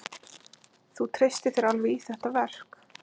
Þú treystir þér alveg í þetta verk?